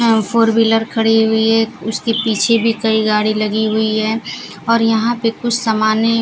यहां four wheeler खड़ी हुई है उसके पीछे भी कई गाड़ी लगी हुई है और यहां पे कुछ समानें --